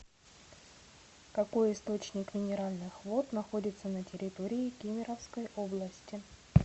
какой источник минеральных вод находится на территории кемеровской области